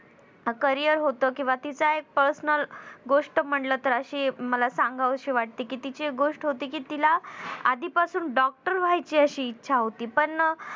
career होत किंवा तिचा एक personal गोष्ट म्हणलं तर अशी मला सांगावीशी वाटते कि तिची एक गोष्ट होती कि तिला आधीपासून doctor व्हायची अशी इच्छा होती. पण